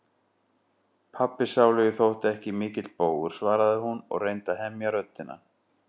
Pabbi sálugi þótti ekki mikill bógur, svaraði hún og reyndi að hemja röddina.